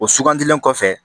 O sugandilen kɔfɛ